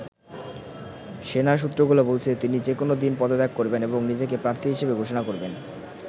সেনা সূত্রগুলো বলছে, তিনি যেকোনো দিন পদত্যাগ করবেন এবং নিজেকে প্রার্থী হিসেবে ঘোষণা করবেন।